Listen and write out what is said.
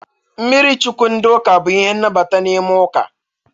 Mmiri Chukwu ndị ụka bụ ihe nnabata n'ime ụka.